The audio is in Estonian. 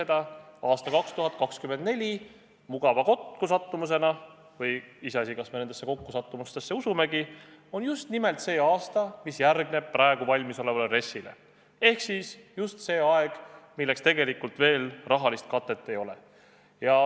Tõlgime: aasta 2024 on mugava kokkusattumusena – iseasi, kas me kokkusattumustesse usume – just nimelt see aasta, mis järgneb praegusele RES-ile, ehk just see aeg, milleks tegelikult veel rahalist katet ei ole.